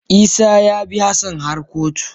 Isah ya bi Hassan har kotu.